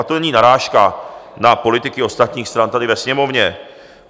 Ale to není narážka na politiky ostatních stran tady ve Sněmovně.